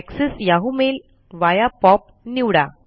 access Yahoo mail via POP निवडा